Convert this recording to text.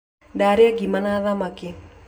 Ndarĩa ngima na thamaki